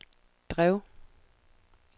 drev